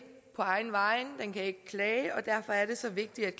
på egne vegne den kan ikke klage og derfor er det så vigtigt